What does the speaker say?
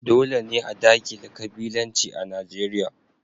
Dole ne a dakile kabilanci a Najeriya.